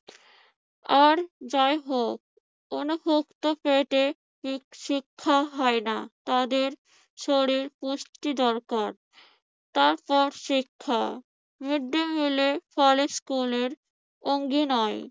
আর যাই হোক অনভুক্ত পেটে ঠিক শিক্ষা হয় না। তাদের শরীর পুষ্টি দরকার, তারপর শিক্ষা মৃদ্দিমিলের ফলে স্কুলের